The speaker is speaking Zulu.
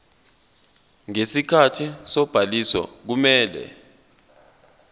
ngesikhathi sobhaliso kumele